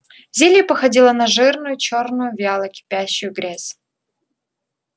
зелье походило на жирную чёрную вяло кипящую грязь